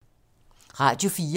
Radio 4